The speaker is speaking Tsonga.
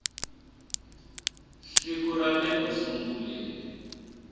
siku ra le ku sunguleni